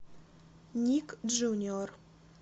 ник джуниор